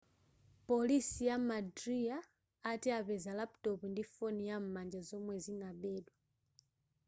polisi ya madhya ati apeza laputopu ndi foni yam'manja zomwe zinabedwa